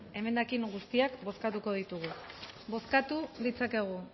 emendakin guztiak bozkatuko ditugu bozkatu ditzakegu